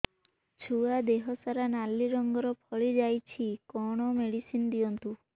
ଛୁଆ ଦେହ ସାରା ନାଲି ରଙ୍ଗର ଫଳି ଯାଇଛି କଣ ମେଡିସିନ ଦିଅନ୍ତୁ